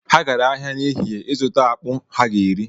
Ha gara ahịa n'ehihie ịzụta akpụ ha ga-eri